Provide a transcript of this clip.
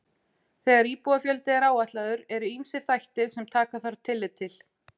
þegar íbúafjöldi er áætlaður eru ýmsir þættir sem taka þarf tillit til